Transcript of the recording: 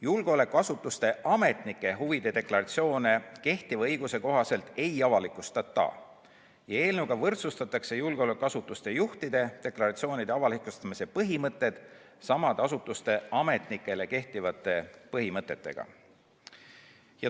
Julgeolekuasutuste ametnike huvide deklaratsioone kehtiva õiguse kohaselt ei avalikustata ja eelnõuga võrdsustatakse julgeolekuasutuste juhtide deklaratsioonide avalikustamise põhimõtted samade asutuste ametnikele kehtivate põhimõtetega.